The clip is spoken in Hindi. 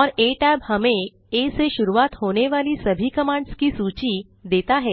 और आ tab हमें आ से शुरूआत होने वाली सभी कमांड्स की सूची देता है